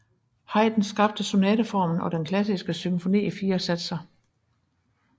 Haydn skabte sonateformen og den klassiske symfoni i fire satser